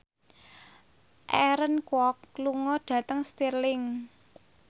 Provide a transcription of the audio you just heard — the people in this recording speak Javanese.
Aaron Kwok lunga dhateng Stirling